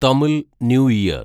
Tamil new year